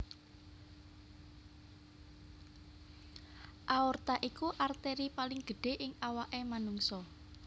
Aorta iku arteri paling gedhé ing awaké manungsa